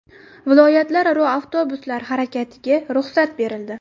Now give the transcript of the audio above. Viloyatlararo avtobuslar harakatiga ruxsat berildi.